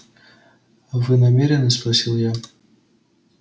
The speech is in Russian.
вы намерены спросил я